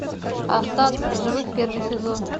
остаться в живых первый сезон